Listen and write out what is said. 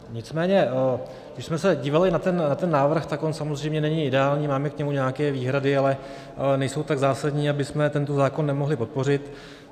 Nicméně když jsme se dívali na ten návrh, tak on samozřejmě není ideální, máme k němu nějaké výhrady, ale nejsou tak zásadní, abychom tento zákon nemohli podpořit.